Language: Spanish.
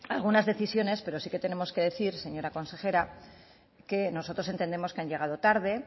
algunas decisiones pero sí que tenemos que decir señora consejera que nosotros entendemos que han llegado tarde